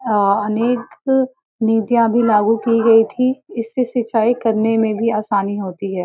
अ अनेक नीतियाँ भी लागू की गई थी। इससे सिंचाई करने में भी आसानी होती है।